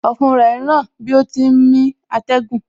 Ọ̀fun rẹ ń ràn bí ó ti ń mí atẹ́gùn